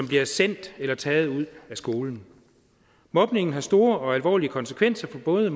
bliver sendt eller taget ud af skolen mobning har store og alvorlige konsekvenser for både